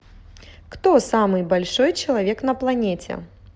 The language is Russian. кто самый большой человек на планете